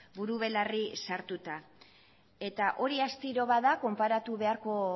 buru belarri sartuta eta hori astiro bada konparatu beharko